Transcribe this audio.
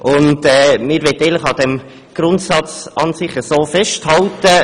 Wir möchten eigentlich an diesem Grundsatz festhalten.